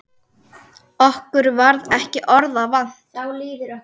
Okkur varð ekki orða vant.